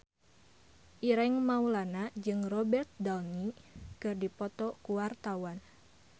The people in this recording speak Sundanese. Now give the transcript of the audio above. Ireng Maulana jeung Robert Downey keur dipoto ku wartawan